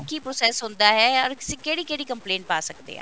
ਕੀ process ਹੁੰਦਾ ਹੈ or ਅਸੀਂ ਕਿਹੜੀ ਕਿਹੜੀ complaint ਪਾ ਸਕਦੇ ਹਾਂ